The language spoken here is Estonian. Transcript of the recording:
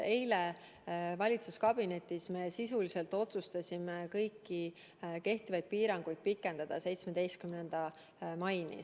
Eile valitsuskabinetis me sisuliselt otsustasime kõiki kehtivaid piiranguid pikendada 17. maini.